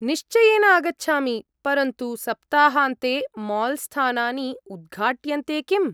निश्चयेन आगच्छामि, परन्तु सप्ताहान्ते माल् स्थानानि उद्घाट्यन्ते किम्?